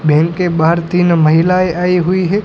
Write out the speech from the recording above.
Bank के बाहर तीन महिलाएं आई हुई है।